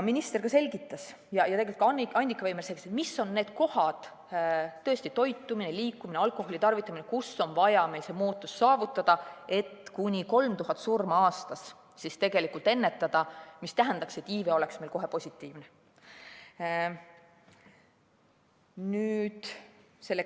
Minister selgitas ja ka Annika Veimer selgitas, mis on need kohad – toitumine, liikumine, alkoholitarvitamine –, kus on vaja see muutus saavutada, et kuni 3000 surma aastas ennetada, mis tähendaks, et iive oleks meil kohe positiivne.